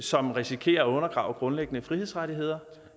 som risikerer at undergrave grundlæggende frihedsrettigheder